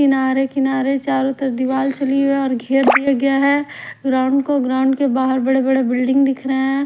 किनारे किनारे चारों तरफ दीवाल चली गई है और घेर लिया गया है ग्राउंड को ग्राउंड के बाहर बड़े-बड़े बिल्डिंग दिख रहे हैं।